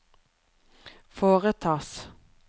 foretas